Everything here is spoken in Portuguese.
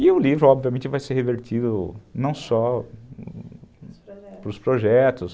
E o livro, obviamente, vai ser revertido não só para os projetos,